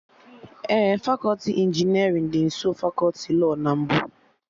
Ee, fakọti injinerịn dị nsọ fakọti lọọ na mbụ